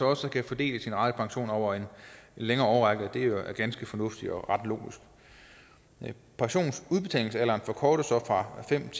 også kunne fordele sin ratepension over en længere årrække det er ganske fornuftigt og ret logisk pensionsudbetalingsalderen forkortes så fra fem